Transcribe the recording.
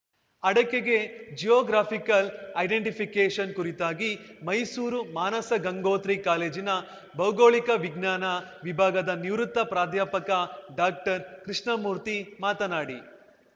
ಅಡಕೆಗೆ geographical identification ಕುರಿತಾಗಿ ಮೈಸೂರು ಮಾನಸಗಂಗೋತ್ರಿ ಕಾಲೇಜಿನ ಭೌಗೋಳಿಕ ವಿಜ್ಞಾನ ವಿಭಾಗದ ನಿವೃತ್ತ ಪ್ರಾಧ್ಯಾಪಕ ಡಾಕ್ಟರ್ಕೃಷ್ಣಮೂರ್ತಿ ಮಾತನಾಡಿ